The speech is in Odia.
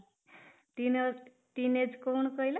teenage କଣ କହିଲ ?